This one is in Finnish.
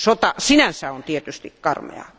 Sota sinänsä on tietysti karmeaa.